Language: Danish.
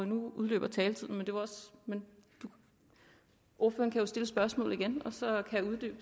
nu udløber taletiden men ordføreren kan jo stille spørgsmålet igen og så